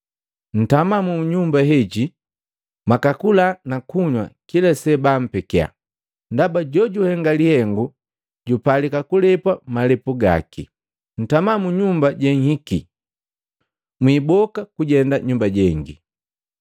Ntama mu nyumba heji, mwakakula nakunywa kila sebampekia, ndaba jojuhenga lihengo jupalika kulepwa malepu gaki. Ntama mu nyumba jenhiki mwiboka kujenda nyumba jengi.